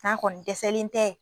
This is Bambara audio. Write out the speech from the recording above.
k'a kɔni dɛsɛlen tɛ